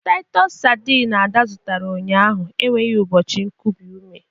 Titos sardineA da zụtara ụnyaahụ enweghị ụbọchị kubie ume.